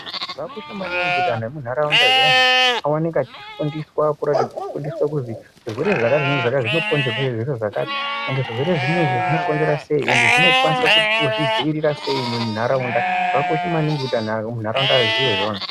Zvakakosha maningi kuti antu emunharaunda zviyani aoneke echifundiswa uratidza kufundiswa kuti zvirwere zvakati nezvakati zvinokonzerwa ngezvakati ende zvirwere zvinezvi zvinokonzera sei ende zvinokwanisa kuzvidzivirira sei muntaraunda, zvakakosha maningi kuti anhu muntaraunda aziye izvozvo.